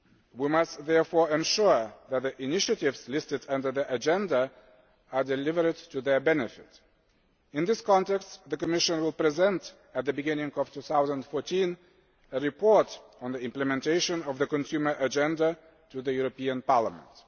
We must therefore ensure that the initiatives listed under the agenda are delivered to their benefit. In this context, the Commission will present at the beginning of 2014 a report on the implementation of the consumer agenda to the European Parliament.